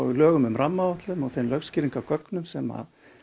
lögum um rammaáætlun þeim lögskýringargögnum sem